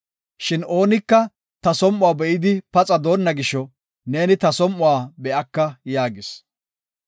Shin oonika ta som7uwa be7idi paxa doonna gisho, neeni ta som7uwa be7aka” yaagis.